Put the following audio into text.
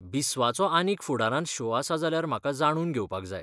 बिस्वाचो आनीक फुडारांत शो आसा जाल्यार म्हाका जाणून घेवपाक जाय.